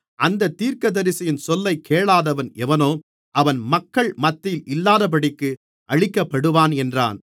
அந்தத் தீர்க்கதரிசியின் சொல்லைக் கேளாதவன் எவனோ அவன் மக்கள் மத்தியில் இல்லாதபடிக்கு அழிக்கப்படுவான் என்றான்